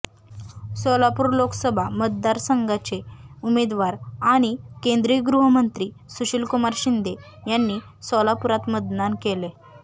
सोलापूर लोकसभा मतदार संघाचे उमेदवार आणि केंद्रीय गृहमंत्री सुशीलकुमार शिंदे यांनी सोलापुरात मतदान केलंय